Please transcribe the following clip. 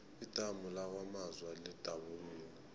idamu lakwamaza lidabukile